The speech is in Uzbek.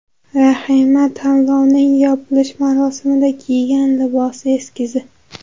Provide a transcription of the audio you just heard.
Rahima tanlovning yopilish marosimida kiygan libos eskizi.